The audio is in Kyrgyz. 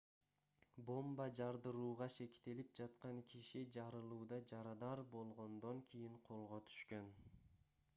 бомба жардырууга шектелип жаткан киши жарылууда жарадар болгондон кийин колго түшкөн